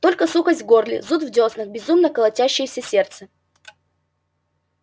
только сухость в горле зуд в дёснах безумно колотящееся сердце